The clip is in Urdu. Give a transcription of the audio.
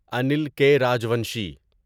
انیل کے راجوانشی